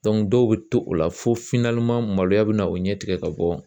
dɔw bɛ to o la fo maloya bɛ na o ɲɛtigɛ ka bɔ